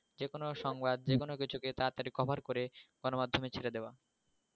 যেকোন সংবাদ যেকোন কিছুকে তাড়াতাড়ি cover করে গণমাধ্যমে ছেড়ে দেওয়া